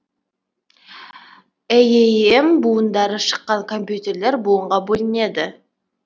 эем буындары шыққан компьютерлер буынға бөлінеді